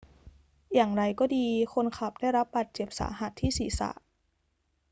อย่างไรก็ดี คนขับได้รับบาดเจ็บสาหัสที่ศีรษะ